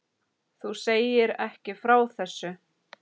Þú segir ekki frá þessu.